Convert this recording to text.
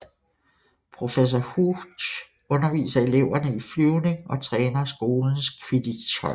Professor Hooch underviser eleverne i Flyvning og træner skolens Quidditchhold